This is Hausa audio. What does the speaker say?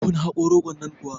kun haƙo rogon nan kuwa